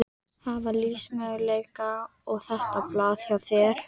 Hvaða lífsmöguleika á þetta blað hjá þér?